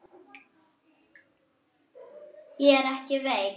Ég er ekki veik.